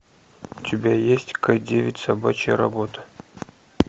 у тебя есть к девять собачья работа